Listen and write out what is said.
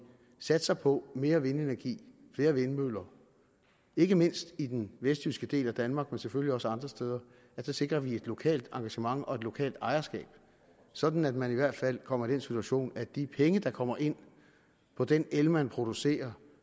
satser på mere vindenergi flere vindmøller ikke mindst i den vestjyske del af danmark men selvfølgelig også andre steder så sikrer et lokalt engagement og et lokalt ejerskab sådan at man i hvert fald kommer i den situation at de penge der kommer ind på den el man producerer